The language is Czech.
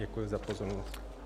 Děkuji za pozornost.